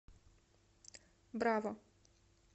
браво